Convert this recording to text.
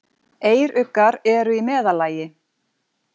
Eyruggar eru í meðallagi.